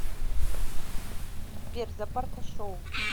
сбер запарка шоу